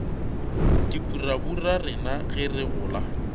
dipurabura rena ge re gola